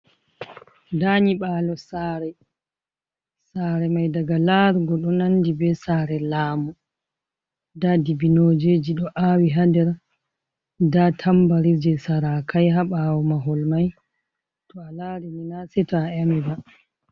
Nda nyiɓalo tsare mai daga larugo ɗo nandi be sare laamu nda dibinojeji ɗo awi ha nder da tambari je sarakai habawo mahol mai, to a lari ni na sei to a ameba.